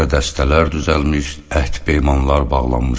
Təzə dəstələr düzəlmiş, əhd peymanlar bağlanmışdı.